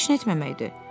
Heç nə etməməkdir.